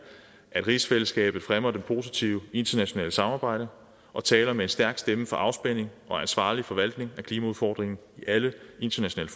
at rigsfællesskabet fremmer det positive internationale samarbejde og taler med en stærk stemme for afspænding og ansvarlig forvaltning af klimaudfordringen i alle internationale